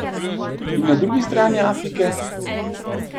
In na drugi strani Afrike?